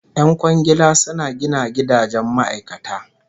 Yan kwangila suna gina gidajen ma'aikata